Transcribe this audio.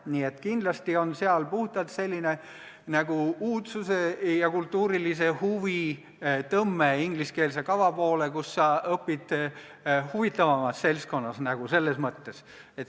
Nii et kindlasti on puhtalt sellist uudsuse ja kultuurilise huvi tõmmet ingliskeelse kava poole, mis võimaldab sul õppida selles mõttes nagu huvitavamas seltskonnas.